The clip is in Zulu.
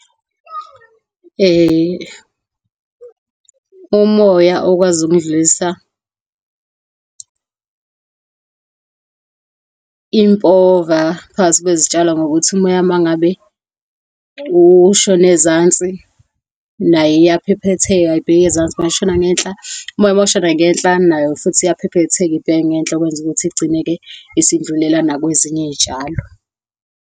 Umoya okwazi ukudlulisa impova phakathi kwezitshalo, ngokuthi umoya mangabe ushona ezansi, nayo iyaphephetheka ibheke ezansi. Mayishona ngenhla, umoya mawushona ngenhla, nayo futhi iyaphephetheka ibheke ngenhla, okwenza ukuthi kugcineke isidlulela nakwezinye iy'tshalo.